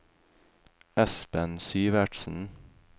Espen Syvertsen